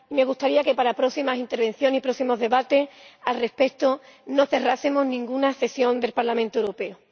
Me gustaría que para próximas intervenciones y próximos debates al respecto no cerrásemos ninguna sesión del Parlamento Europeo.